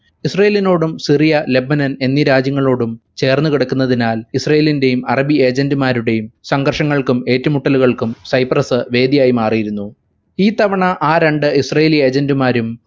ഇസ്രാഈലിനോടും Syria Lebanon എന്നീ രാജ്യങ്ങളോടും ചേർന്നുകിടക്കുന്നതിനാൽ ഇസ്രാഈലിന്റെയും അറബി agent മാരുടെയും സംഘർഷങ്ങല്കും ഏറ്റുമുട്ടലുകൾക്കും സൈപ്രസ് വേദിയായി മറിയിരുന്നു ഈ തവണ ആ രണ്ട് ഇസ്രായേലി agent മാരും